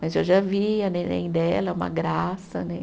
Mas eu já vi a neném dela, uma graça, né?